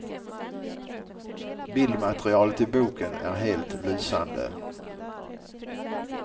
Bildmaterialet i boken är helt lysande.